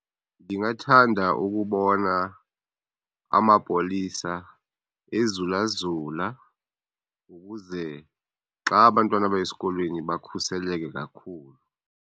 Ndingathanda ukubona amapolisa ezula zula ukuze xa abantwana beya esikolweni bukhuseleke kakhulu.